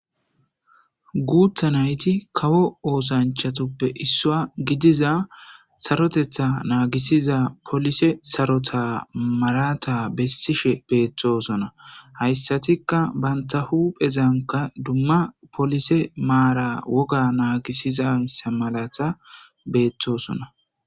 Guutha nayti kawo oosanchatuppe issua gidiza sarotetha naagisiza polise sarota maraata bessishe beettosona. Hayssatikka bantta huphezanka dumma polise maara woga naagisizayssa malata beettoosona